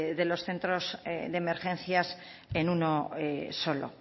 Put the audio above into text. de los centros de emergencias en uno solo